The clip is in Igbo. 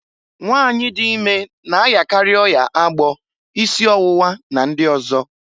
Nwanyị dị ime na ayakarị ọya agbọ, isi ọwụwa, na ndị ọzọ.